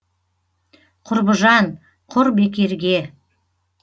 құрбыжан құр бекерге